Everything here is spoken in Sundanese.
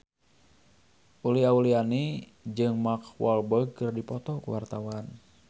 Uli Auliani jeung Mark Walberg keur dipoto ku wartawan